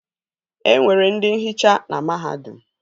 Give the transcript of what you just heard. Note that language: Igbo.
E nwere ndị nhicha na mahadum